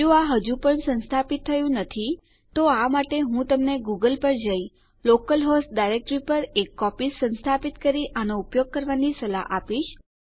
જો આ હજુ પણ સંસ્થાપિત થયું નથી તો આ માટે હું તમે ગૂગલ પર જઈ લોકલ હોસ્ટ ડાયરેક્ટરી પર એક કોપી સંસ્થાપિત કરી આનો ઉપયોગ કરવાની સલાહ આપીશ